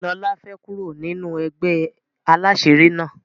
lola fè kúrò nínú ègbé àlàṣiri na.